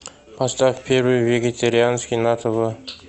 поставь первый вегетарианский на тв